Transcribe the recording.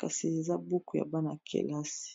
kasi eza buku ya bana kelasi